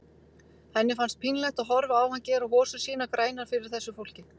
Henni fannst pínlegt að horfa á hann gera hosur sínar grænar fyrir þessu fólki.